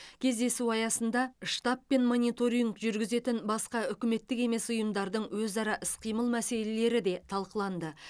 кездесу аясында штабы мен мониторинг жүргізетін басқа үкіметтік емес ұйымдардың өзара іс қимыл мәселелері де талқыланды